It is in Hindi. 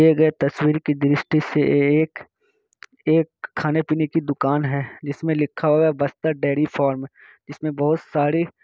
दिए गए तस्वीर की दृष्टि से ये एक एक खाने- पीने की दुकान है जिसमे लिखा हुआ है बस्तर डेरी फार्म । इसमें बहुत सारी--